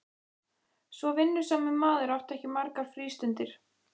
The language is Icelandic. Svo vinnusamur maður átti ekki margar frístundir.